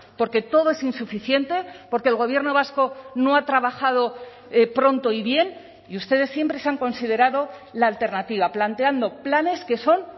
porque todo es insuficiente porque el gobierno vasco no ha trabajado pronto y bien y ustedes siempre se han considerado la alternativa planteando planes que son